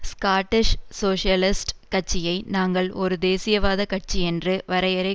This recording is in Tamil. ஸ்காட்டிஷ் சோசியலிஸ்ட் கட்சியை நாங்கள் ஒரு தேசியவாத கட்சியென்று வரையறை